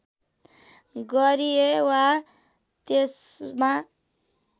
गरिए वा त्यस्मा